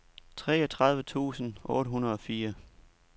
treogtredive tusind otte hundrede og fire